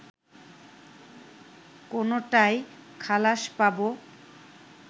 কোনোটায় খালাস পাবো